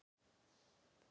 Það dugði þó ekki til